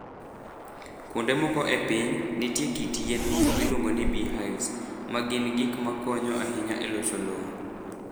Kuonde moko e piny, nitie kit yien moko miluongo ni beehives, ma gin gik ma konyo ahinya e loso lowo.